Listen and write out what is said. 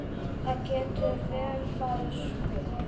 Það getur vel farið svo.